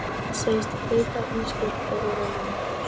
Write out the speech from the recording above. Segist heita Ísbjörg og vera ljón.